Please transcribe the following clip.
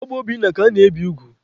Ọ bụ Obinna ka ana-ebi ugwu.